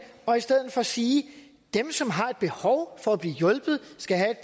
og i stedet for sige at dem som har behov for at blive hjulpet skal have